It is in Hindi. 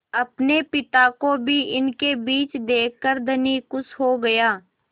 अपने पिता को भी इनके बीच देखकर धनी खुश हो गया